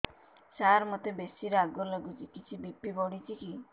ସାର ମୋତେ ବେସି ରାଗ ଲାଗୁଚି କିଛି ବି.ପି ବଢ଼ିଚି କି